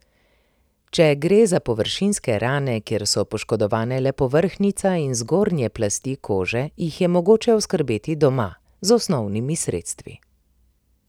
Če gre za površinske rane, kjer so poškodovane le povrhnjica in zgornje plasti kože, jih je mogoče oskrbeti doma, z osnovnimi sredstvi.